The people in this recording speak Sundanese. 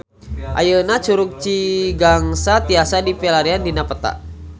Ayeuna Curug Cigangsa tiasa dipilarian dina peta